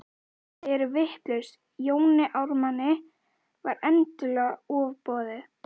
Þið eruð vitlaus, Jóni Ármanni var endanlega ofboðið.